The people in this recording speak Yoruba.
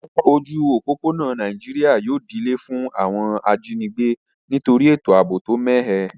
Ojú òpópónà Naijiri yio di ilé fún àwon ajínigbé nítorí ètò àbò tó mẹ́hẹ